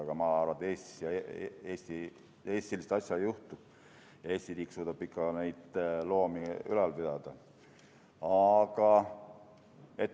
Aga ma arvan, et Eestis sellist asja ei juhtu, Eesti riik suudab ikka neid loomi ülal pidada.